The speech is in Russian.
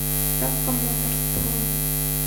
таско моторс бронь